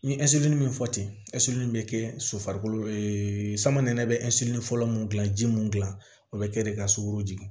N ye min fɔ ten bɛ kɛ so farikolo sama nɛnɛ bɛ fɔlɔ mun gilan ji mun gilan o be kɛ de ka sugoro jigin